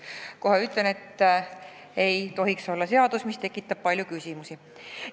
Kohe ütlen, et see ei tohiks olla seaduseelnõu, mis tekitab palju küsimusi.